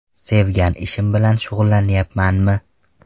Sevgan ishim bilan shug‘ullanayapmanmi ?